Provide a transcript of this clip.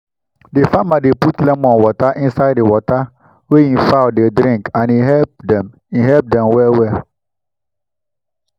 the farmer dey put lemon water inside the water wey e fowl dey drink and e help dem e help dem well well